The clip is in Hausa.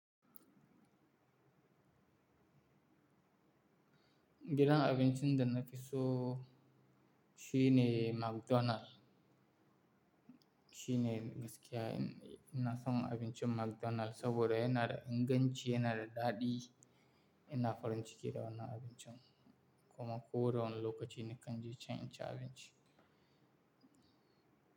Gidan abincin da na fi so shi ne McDonald. Shi ne gaskiya ina son abincin McDonald saboda yana da inganci, yana da daɗi. Ina farin ciki da wannan abincin kuma ko da wane lokaci nakan ji can in ci abinci.